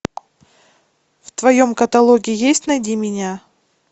в твоем каталоге есть найди меня